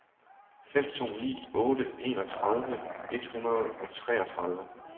fem to ni otte enogtredive et hundrede og treogtredive